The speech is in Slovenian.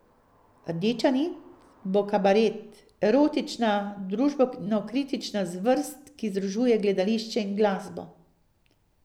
Rdeča nit bo kabaret, erotična, družbenokritična zvrst, ki združuje gledališče in glasbo.